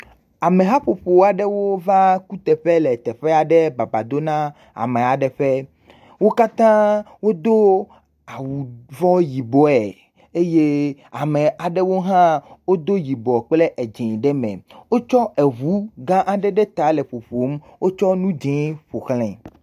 Amehaƒoƒua ɖewo va le teƒe le teƒea ɖe baba dom na amea ɖe ƒe. Wo katã wodo awu vɔ yibɔe eye ame aɖewo hã wodo yibɔ kple edzi ɖe me. Wotsɔ eɖu gã aɖe ɖe ta le ƒoƒoo. Wotsɔ enu dzi ƒoxlae.